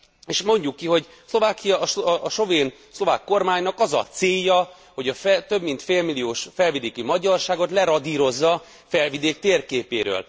És mondjuk ki, hogy Szlovákiának, a szlovák kormánynak az a célja, hogy a több mint félmilliós felvidéki magyarságot leradírozza Felvidék térképéről.